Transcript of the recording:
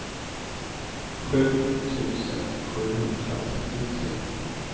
sju tusen sjuhundratrettiotre